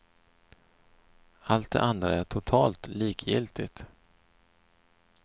Allt det andra är totalt likgiltigt.